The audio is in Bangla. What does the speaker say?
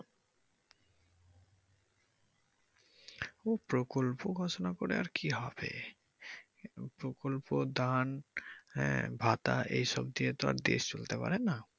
ও প্রকল্প ঘোষনা করে আর কি হবে প্রকল্প দান হ্যা ভাতা এইসব দিয়ে তো আর দেশ চলতে পারে না।